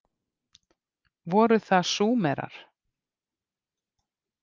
Voru það Súmerar?